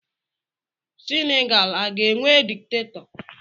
Senegal a ga-enwe dikitatọ